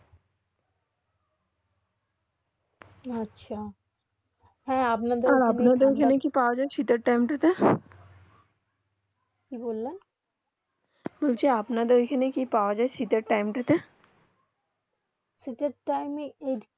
হেঁ আপনার ওখানে কি পৰা যায় শীতে টাইম তা তে কি বললেন যে বললেন আপনার ওখানে কি পৰা যায় শীতে টাইম তা তে শীতে টাইম এ দিকে